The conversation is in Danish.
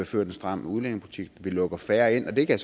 ført en stram udlændingepolitik vi lukker færre ind det kan